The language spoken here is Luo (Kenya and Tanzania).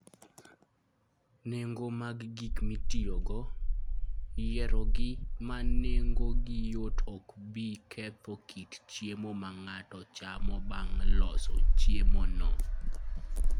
Nengo mag gik mitiyogo, Yiero gik ma nengogi yot ok bi ketho kit chiemo ma ng'ato chamo bang' loso chiemono.